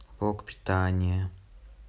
блок питания